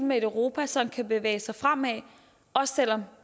med et europa som kan bevæge sig fremad også selv om